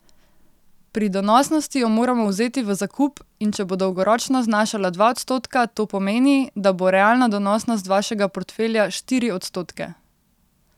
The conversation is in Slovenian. Pri donosnosti jo moramo vzeti v zakup, in če bo dolgoročno znašala dva odstotka, to pomeni, da bo realna donosnost vašega portfelja štiri odstotke.